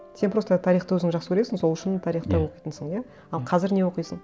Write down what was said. сен просто тарихты өзің жақсы көресің сол үшін тарихты оқитынсың иә